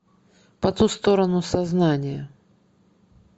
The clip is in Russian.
по ту сторону сознания